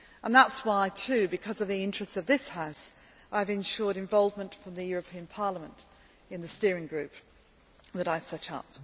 That is also why, because of the interests of this House, I have ensured involvement from the European Parliament in the steering group that I set